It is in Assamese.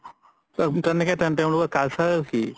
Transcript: তেওলোক cultural কি